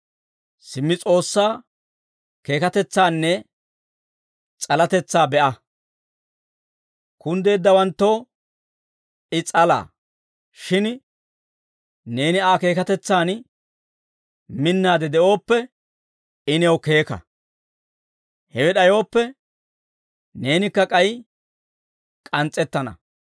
Simmi S'oossaa keekatetsaanne s'alatetsaa be'a. Kunddeeddawanttoo I s'alaa; shin neeni Aa keekatetsaani minnaade de'ooppe, I new keeka; hewe d'ayooppe, neenikka k'ay k'ans's'ettana.